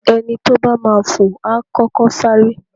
Ẹni tó bá máa fò, A kọ́kọ́ sáré.